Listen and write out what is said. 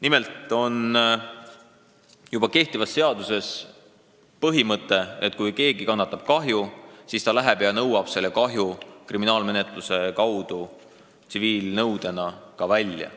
Nimelt on juba kehtivas seaduses põhimõte, et kui keegi kannatab kahju, siis ta läheb ja nõuab selle kahju kriminaalmenetluse kaudu tsiviilnõudena välja.